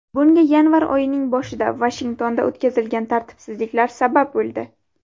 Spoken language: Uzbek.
Bunga yanvar oyining boshida Vashingtonda o‘tkazilgan tartibsizliklar sabab bo‘ldi.